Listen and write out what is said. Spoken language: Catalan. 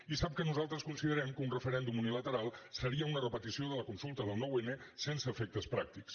i sap que nosaltres considerem que un referèndum unilateral seria una repetició de la consulta del nou n sense efectes pràctics